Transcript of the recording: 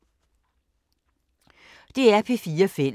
DR P4 Fælles